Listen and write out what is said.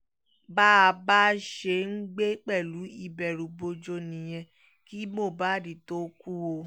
bá a bá a ṣe ń gbé pẹ̀lú ìbẹ̀rùbojo nìyẹn kí mohbad tóó kú o